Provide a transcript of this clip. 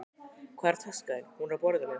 Hvar er taskan þín? Hún er á borðinu.